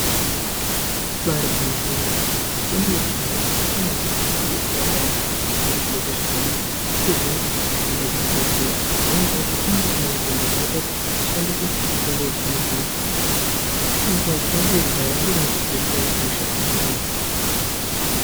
Ibari gwinyiso yemene mitombo yekudhaya yakakosha maningi ngekuti inodetsera payani patinge tisingazwi zvakanaka kutoziya kuti tikaenda kuzvibhedhlera pamweni pacho kunenge kusina mitombo zvinoita kuti tishandise mitombo yechizvino zvino asi kushandisa yekudhaya kunodetsera kuti hosha ihinike.